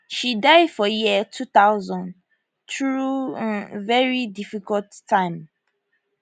she die for year 2000 through um veri difficult time